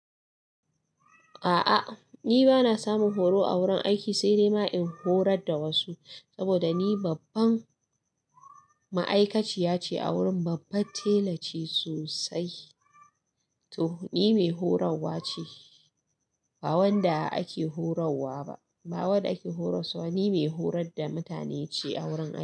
A'a ni bana samun horo a wurin aiki, sai dai ma in horar da wasu saboda ni babban ma'aikaciya ce a wurin. Babban tela ce sosai. To ni mai horarwa ce, ba wanda ake horarwa ba. Ba wanda ake horas wa. Ni mai horar da mutane ce a wurin aiki.